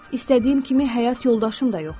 İstədiyim kimi həyat yoldaşım da yoxdur.